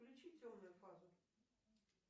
включи темную фазу